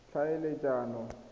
tlhaeletsano